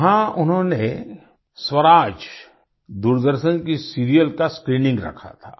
वहाँ उन्होंने स्वराज दूरदर्शन के सीरियल का स्क्रीनिंग रखा था